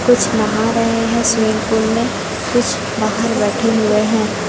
कुछ नहा रहे है स्विमिंग पूल में कुछ बाजु में बैठे हुए हैं।